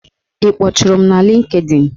Ị kpọtụrụm na Lịnkdịn?